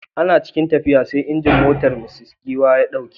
Ana cikin tafiya sai injin motar Mrs Giwa ya dauke.